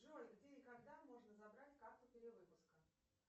джой где и когда можно забрать карту перевыпуска